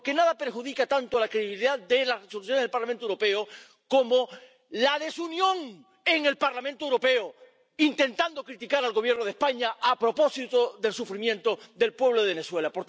Porque nada perjudica tanto la credibilidad de las Resoluciones del Parlamento Europeo como la desunión en el Parlamento Europeo, intentando criticar al Gobierno de España a propósito del sufrimiento del pueblo de Venezuela.